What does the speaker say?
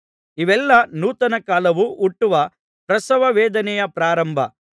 ಇವೆಲ್ಲಾ ನೂತನ ಕಾಲವು ಹುಟ್ಟುವ ಪ್ರಸವವೇದನೆಯ ಪ್ರಾರಂಭ